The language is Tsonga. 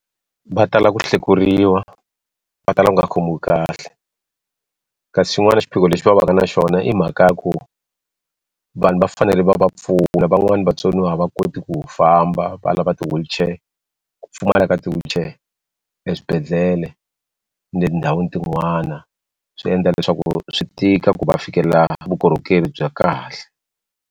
Va tala ku hlekuriwa va tala ku nga ha khomiwi kahle kasi xin'wana xiphiqo lexi va va ka na xona i mhaka ya ku vanhu va fanele va va pfuna van'wani vatsoniwa a va koti ku famba valava ti wheelchair ku pfumala ka ti wheelchair eswibedhlele etindhawini tin'wana swi endla leswaku swi tika ku va fikelela vukorhokeri bya kahle.